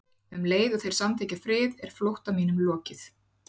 Og um leið og þeir samþykkja frið er flótta mínum lokið.